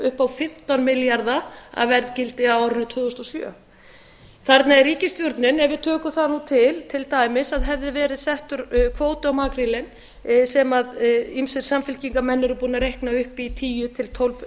upp á fimmtán milljarða að verðgildi á árinu tvö þúsund og sjö þar með er ríkisstjórnin ef við tökum það nú til til dæmis að hefði verið settur kvóti á makrílinn sem ýmsir samfylkingarmenn eru búnir að reikna upp í tíu til tólf